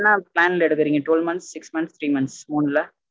என்ன plan ல எடுக்கறீங்க twelve months six months three months மூணு ல